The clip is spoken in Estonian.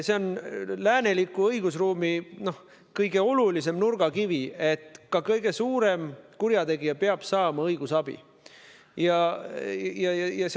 See on lääneliku õigusruumi kõige olulisem nurgakivi, ka kõige suurem kurjategija peab saama õigusabi.